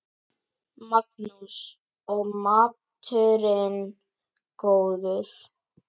Magnús: Og maturinn góður?